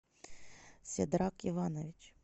седрак иванович